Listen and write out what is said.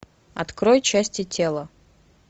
открой части тела